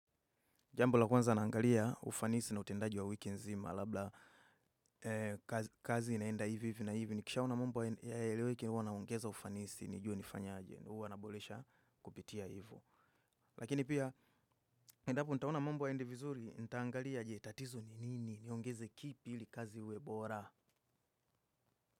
Jambo la kwanza naangalia ufanisi na utendaji wa wiki nzima, labda kazi inaenda hivi hivi na hivi. Nikishaona mambo hayaeleweki huwa naongeza ufanisi, nijue nifanye aje. Huwa naboresha kupitia hivo. Lakini pia, endapo nitaona mambo hayaendi vizuri, nitaangalia aje tatizo ni nini, niongeze kipi ili kazi iwe bora.